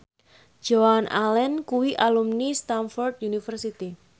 Joan Allen kuwi alumni Stamford University